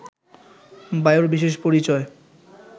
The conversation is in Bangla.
বায়ুর বিশেষ পরিচয়